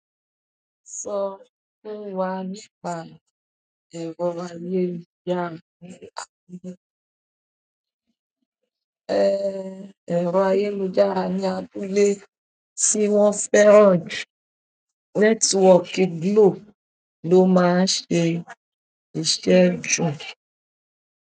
Sọ fún wa nípa ẹ̀rọ ayélujára ní ilé. Ẹ̀rọ ayélujára ní abúlé tí wọ́n fẹ́ràn jù, nẹ́tíwọ́ọ̀kì Glo ló máa ń ṣe ṣíṣe jù.